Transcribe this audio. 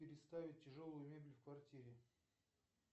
переставить тяжелую мебель в квартире